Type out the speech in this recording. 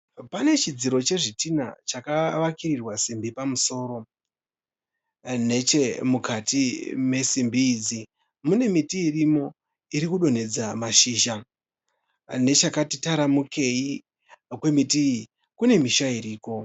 Pane chidziro chezvitinha chakavakirirwa simbi pamusoro. Neche mukati mesimbi idzi mune miti irimo iri kudonhedza mashizha. Nechakati taramukei kwemiti iyi kune misha iriko.